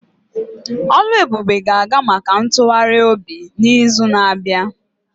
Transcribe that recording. Oluebube ga-aga maka ntụgharị obi n'izu na-abịa.